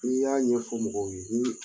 N'i y'a ɲɛfɔ mɔgɔw ye